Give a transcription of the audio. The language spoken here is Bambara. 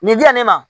Nin dilan nin na